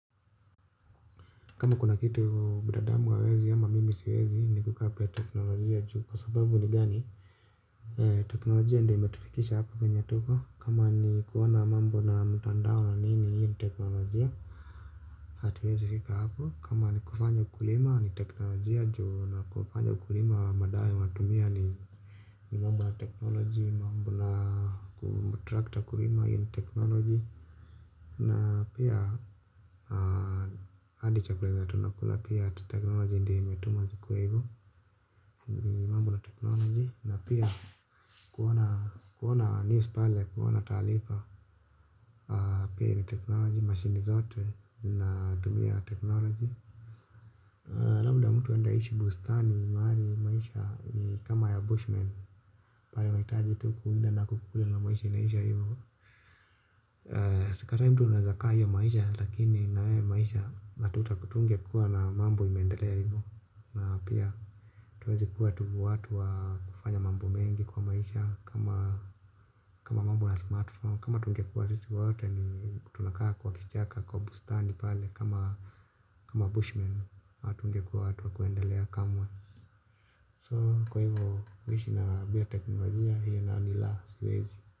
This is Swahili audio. Kama kuna kitu binadamu wawezi ama mimi siwezi ni kukapila teknolojia juu kwa sababu ni gani. Teknolojia ndio imetifikisha hapa kenya tuko kama ni kuwana mambo na mtandao na nini hiyo ni teknolojia. Atiwezifika hapo kama ni kufanya ukulima ni teknolojia juu na kufanya ukulima wa madawa watumia ni mambo ya teknolojia mambo na ku trakta kulima hiyo ni teknolojia. Na pia adi chakula zenye tunakula pia ati teknoloji ndio imetuma zikuwa hivu. Mambo na teknoloji na pia kuona news pale kuona talifa. Pia ni teknoloji mashini zote zina tumia teknoloji labda mtu ende aishi bustani maali maisha ni kama ya Bushman unaitaji tu kuwinda na kukula maisha inaisha hivyo sikatai mtu anaeza kaa hiyo maisha lakini hiyo maisha atungekuwa na mambo imeendelea hivo na pia atuwezi kuwa tu watu wakufanya mambo mengi twa maisha kama kama mambo na smartphone kama tunge kuwa sisi waote ni tunakaa kwa kichaka kwa bustani pale kama kama bushman hatunge kuwa watu wa kuendelea kamwe So kwa hivyo kuishi na bila teknolojia hiyo na nila siwezi.